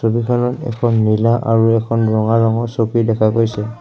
দোকানত এখন নীলা আৰু এখন ৰঙা ৰঙৰ চকী দেখা গৈছে।